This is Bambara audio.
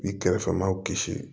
I kɛrɛfɛ maaw kisi